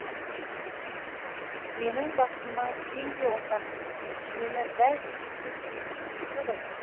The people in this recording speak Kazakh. менің бақытыма сен де ортақсың мені дәл сендей ешкім де сүймейді ғой